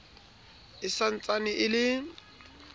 e sa ntsane e le